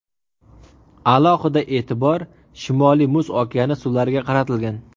Alohida e’tibor Shimoliy Muz okeani suvlariga qaratilgan.